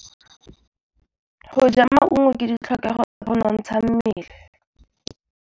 Go ja maungo ke ditlhokegô tsa go nontsha mmele.